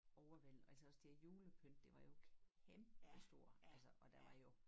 Overvældende altså også det julepynt det var jo kæmpestort altså og der var jo